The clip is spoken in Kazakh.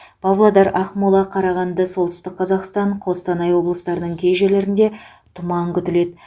павлодар ақмола қарағанды солтүстік қазақстан қостанай облыстарының кей жерлерінде тұман күтіледі